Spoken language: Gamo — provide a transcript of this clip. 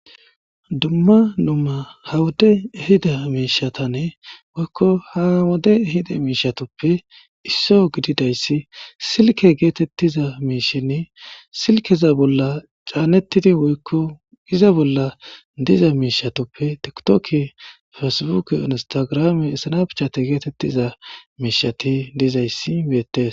dumma numa ha wode hida miishatanne woykko ha wode hida miishatoppe isso gididayssi silke geetettiza miishenni silkeza bolla caannettidi woykko iza bolla diza miishatoppe tiktoke fersbuke onostagrame issanapichate geetettiza miishati dizayssi beettes